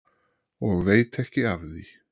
Og veit ekki af því.